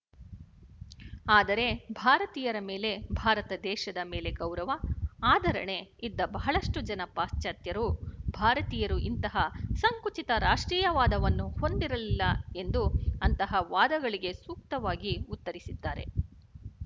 ಆದರೆ ಭಾರತೀಯರ ಮೇಲೆ ಭಾರತದೇಶದ ಮೇಲೆ ಗೌರವ ಆದರಣೆ ಇದ್ದ ಬಹಳಷ್ಟು ಜನ ಪಾಶ್ಚಾತ್ಯರು ಭಾರತೀಯರು ಇಂತಹ ಸಂಕುಚಿತ ರಾಷ್ಟ್ರೀಯವಾದವನ್ನು ಹೊಂದಿರಲಿಲ್ಲ ಎಂದು ಅಂತಹ ವಾದಗಳಿಗೆ ಸೂಕ್ತವಾಗಿ ಉತ್ತರಿಸಿದ್ದಾರೆ